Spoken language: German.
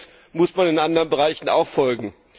Diesen Trends muss man in anderen Bereichen auch folgen.